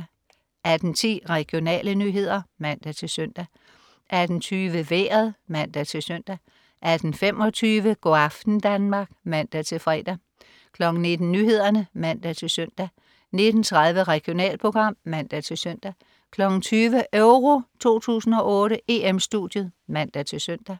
18.10 Regionale nyheder (man-søn) 18.20 Vejret (man-søn) 18.25 Go' aften Danmark (man-fre) 19.00 Nyhederne (man-søn) 19.30 Regionalprogram (man-søn) 20.00 EURO 2008: EM-Studiet (man-søn)